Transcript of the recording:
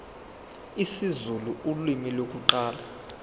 isizulu ulimi lokuqala